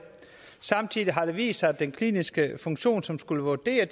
samtidig har det vist sig at den kliniske funktion som skulle vurdere